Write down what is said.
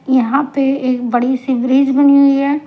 यहां पे एक बड़ी ब्रिज बनी हुई है.